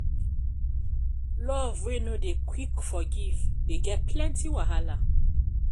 love wey no dey quick forgive dey get plenty wahala.